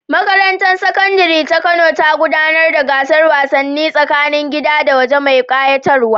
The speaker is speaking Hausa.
Makarantar Sakandare ta Kano ta gudanar da gasar wasanni tsakanin gida da waje mai ƙayatarwa.